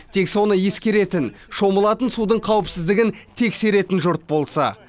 тек соны ескеретін шомылатын судың қауіпсіздігін тексеретін жұрт болса